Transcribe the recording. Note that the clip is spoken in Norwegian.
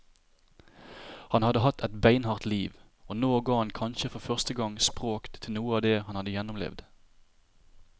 Han hadde hatt et beinhardt liv, og nå ga han kanskje for første gang språk til noe av det han hadde gjennomlevd.